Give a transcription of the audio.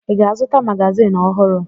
Ị ga-azụta magazin ọhụrụ?